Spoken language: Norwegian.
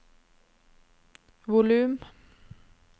volum